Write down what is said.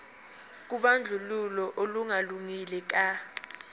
kobandlululo olungalungile ka